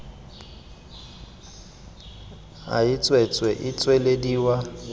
a e tswetswe e tswelediwa